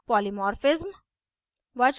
polymorphism